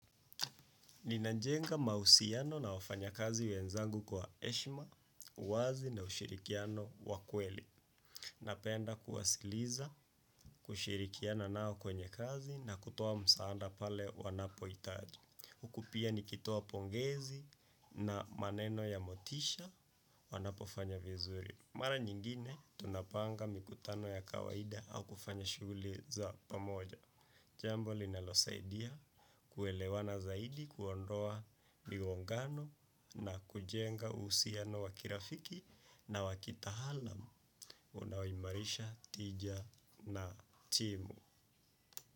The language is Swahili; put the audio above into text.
Ninajenga mahusiano na wafanya kazi wezangu kwaheshima, uwazi na ushirikiano wakweli. Napenda kuwasikiliza, kushirikiana nao kwenye kazi na kutoa msaada pale wanapo hitaji. Huku pia nikitoa pongezi na maneno ya motisha wanapo fanya vizuri. Mara nyingine tunapanga mikutano ya kawaida au kufanya shughuli za pamoja. Jambo linalo saidia kuelewana zaidi kuondoa migongano na kujenga uhusiano wakirafiki na wakitaalamu. Unawaimarisha tija na timu.